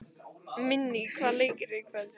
Minný, hvaða leikir eru í kvöld?